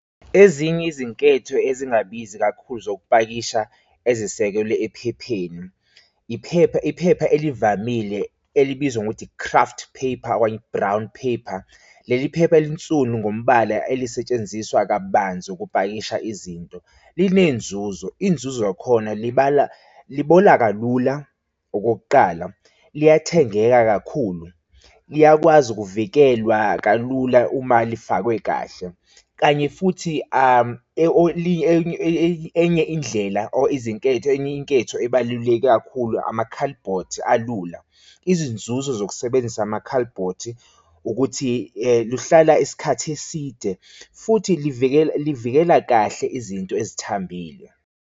Ezinye izinketho ezingabizi kakhulu zokupakisha ezisekelwe ephepheni, iphepha, iphepha elivamile elibizwa ngokuthi i-icraft paper okanye i-brown paper. Leli phepha linsunu ngombala elizosetshenziswa kabanzi ukupakisha izinto. Linenzuzo inzuzo yakhona libala, libola kalula, okokuqala liyathengeka kakhulu, liyakwazi ukuvikelwa kalula uma lifakwe kahle. Kanye futhi enye indlela or izinketho, enye inketho ebaluleke kakhulu amakhalibhothi alula izinzuzo zokusebenzisa amakhalibhothi ukuthi luhlala isikhathi eside futhi livikela, livikela kahle izinto ezithambile.